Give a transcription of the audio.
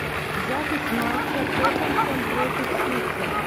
запись матча тоттенхэм против сити